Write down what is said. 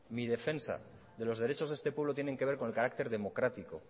mi defensa de los derechos de este pueblo tienen que ver con el carácter democrático